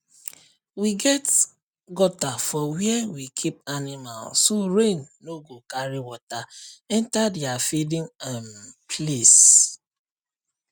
we get gutter for where we keep animal so rain no go carry water enter their feeding um place